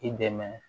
I dɛmɛ